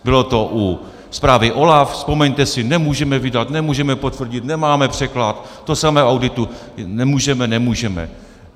Bylo to u zprávy OLAF, vzpomeňte si - nemůžeme vydat, nemůžeme potvrdit, nemáme překlad, to samé u auditu, nemůžeme, nemůžeme.